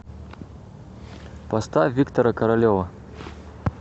поставь виктора королева